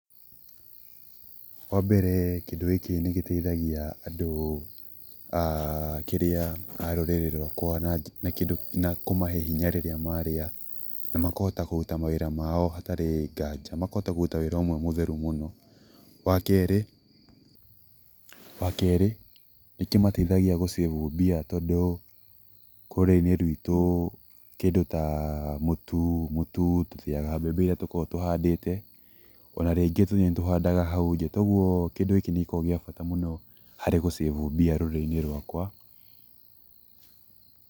Wa mbere kĩndũ gĩkĩ nĩ gĩteithagia andũ a kĩrĩa, a rũrĩrĩ rwakwa na kũmahe hinya rĩrĩa marĩa, na makahota kũruta mawĩra mao hatarĩ ngaja, makahota kũruta wĩra ũmwe mũtheru mũno. Wa kerĩ, wa kerĩ, nĩ kĩmateithagia gũ save mbia tondũ rũrĩrĩ-inĩ rwitũ kĩndũ ta mũtu, mũtu tũthĩaga mbembe iria tũkoragwo tũhandĩte o na rĩngĩ nĩ tũhandaga hau nja toguo kĩndũ gĩkĩ nĩ gĩkoragwo gĩa bata mũno harĩ gũ save mbia rũrĩrĩ-inĩ rwakwa.